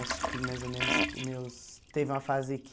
Acho que mais ou menos, meus teve uma fase que...